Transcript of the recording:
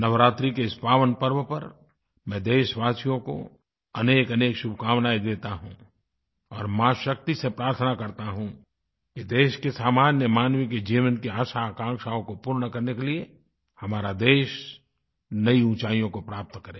नवरात्रि के इस पावनपर्व पर मैं देशवासियों को अनेकअनेक शुभकामनायें देता हूँ और माँशक्ति से प्रार्थना करता हूँ कि देश के सामान्यमानव के जीवन की आशाआकांक्षाओं को पूर्ण करने के लिए हमारा देश नई ऊँचाइयों को प्राप्त करे